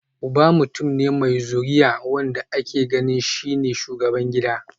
Uba mutum ne mai zuriya, wanda ake ganin shi ne shugaban gida